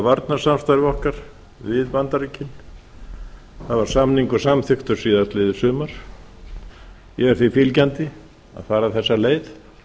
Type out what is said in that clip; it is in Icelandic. varnarsamstarfi okkar við bandaríkin það var samningur samþykktur síðastliðið sumar ég er því fylgjandi að fara þessa leið